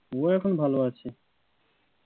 উ এখন ভালো আছে,